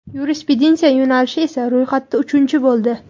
Yurisprudentsiya yo‘nalishi esa ro‘yxatda uchinchi bo‘ldi.